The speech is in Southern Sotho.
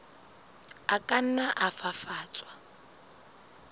a ka nna a fafatswa